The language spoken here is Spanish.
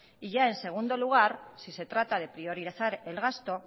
y ya en segundo lugar si se trata de priorizar el gasto